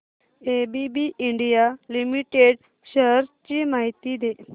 ABB India limited shares ची माहिती दे